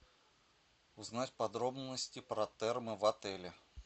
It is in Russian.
узнать подробности про термо в отеле